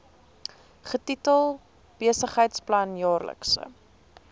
getitel besigheidsplan jaarlikse